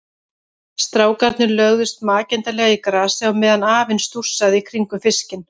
Strákarnir lögðust makindalega í grasið á meðan afinn stússaði í kringum fiskinn.